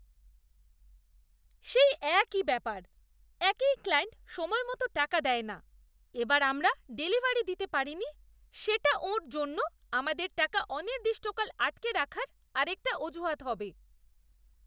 সেই একই ব্যাপার, একেই ক্লায়েন্ট সময়মতো টাকা দেয় না, এবার আমরা ডেলিভারি দিতে পারিনি সেটা ওঁর জন্য আমাদের টাকা অনির্দিষ্টকাল আটকে রাখার আরেকটা অজুহাত হবে।